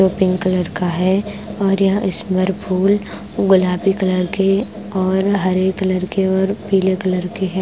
Pink colour का है और यहां स्मर फूल गुलाबी कलर के और हरे कलर के और पीले कलर के है।